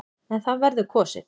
En það verður kosið.